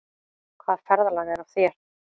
Hvaða ferðalag er á þér?